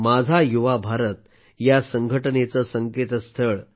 माझा युवा भारत या संघटनेचं संकेतस्थळ